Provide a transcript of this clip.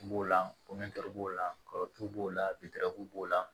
B'o la b'o la kɔrɔ b'o la witɛrɛw b'o la